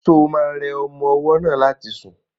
Ṣo ma rẹ ọmọ ọwọ́ náà láti sùn?